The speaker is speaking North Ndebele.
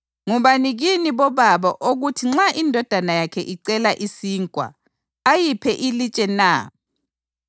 Ngubani kini bobaba okuthi nxa indodana yakhe icela isinkwa ayiphe ilitshe na?